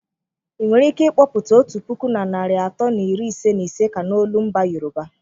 Ị nwere ike kpọpụta otu puku na narị atọ na iri ise na ise ka n'olu mba Yoruba?